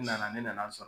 N nana ne nana sɔrɔ